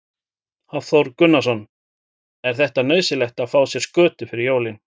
Hafþór Gunnarsson: Er þetta nauðsynlegt að fá sér skötu fyrir jólin?